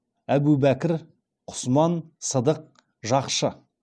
әбубәкір құсман сыдық жақшы